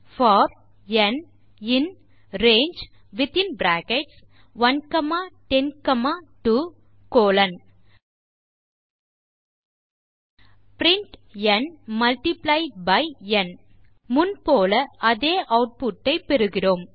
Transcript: type செய்க for n in range within bracket 1 comma 10 comma 2 colon print n multiply by n முன் போல அதே output ஐ பெறுகிறோம்